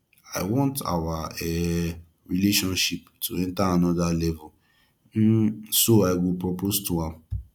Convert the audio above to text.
i want our um relationship to enter another level um so i go propose to am